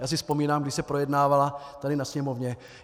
Já si vzpomínám, když se projednávala tady ve Sněmovně.